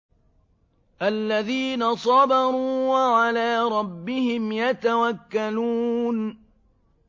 الَّذِينَ صَبَرُوا وَعَلَىٰ رَبِّهِمْ يَتَوَكَّلُونَ